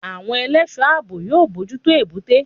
Àwọn ẹlẹ́sọ̀ọ́ àbò yóò mójútó Èbúté.